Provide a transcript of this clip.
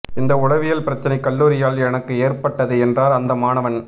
இந்த உளவியல் பிரச்னை கல்லூரியால் எனக்கு ஏற்பட்டது என்றார் அந்த மாணவன்